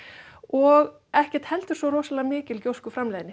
og ekki heldur svo mikil